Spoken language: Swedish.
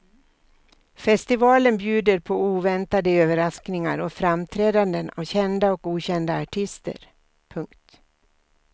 Festivalen bjuder på oväntade överraskningar och framträdanden av kända och okända artister. punkt